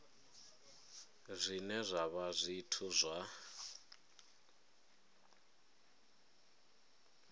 zwine zwa vha zwithu zwa